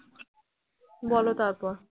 বলো তারপর